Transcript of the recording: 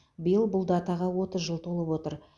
биыл бұл датаға отыз жыл толып отыр